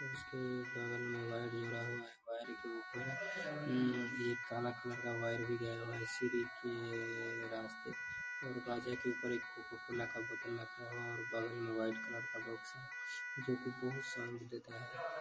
और उसके बगल में वायर जोड़ा हुआ वायर के ऊपर उ एक काला कलर का वायर भी गया हुआ है सीढ़ी के रास्ते और बाजे के ऊपर एक कोकोकोला का बोतल रखा हुआ और बगल में व्हाइट कलर का बॉक्स है जो की बहुत साउंड देता है ।